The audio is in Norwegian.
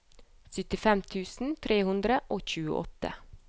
syttifem tusen tre hundre og tjueåtte